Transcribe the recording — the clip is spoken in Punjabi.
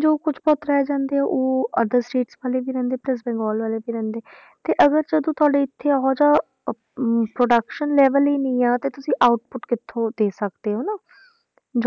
ਜੋ ਕੁਛ ਤਾਂ ਰਹਿ ਜਾਂਦੇ ਆ ਉਹ other states ਵਾਲੇ ਨੀ ਰਹਿੰਦੇ plus ਬੰਗਾਲ ਵਾਲੇ ਵੀ ਰਹਿੰਦੇ ਤੇ ਅਗਰ ਜਦੋਂ ਤੁਹਾਡੇ ਇੱਥੇ ਉਹ ਜਿਹਾ ਅਹ ਅਮ production level ਹੀ ਨੀ ਆਂ, ਤੇ ਤੁਸੀਂ output ਕਿੱਥੋਂ ਦੇ ਸਕਦੇ ਹੋ ਨਾ